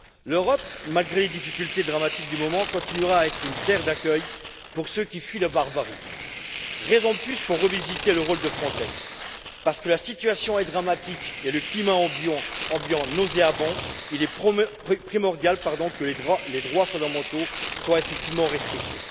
L'Europe, malgré les difficultés dramatiques du moment, continuera à être une terre d'accueil pour ceux qui fuient la barbarie. Raison de plus pour revisiter le rôle de Frontex parce que la situation est dramatique et le climat ambiant nauséabond, il est primordial que les droits fondamentaux soient effectivement respectés.